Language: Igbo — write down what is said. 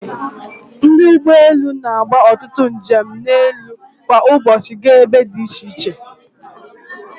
Ndị ụgbọ elu na-agba ọtụtụ njem elu kwa ụbọchị gaa ebe dị iche iche.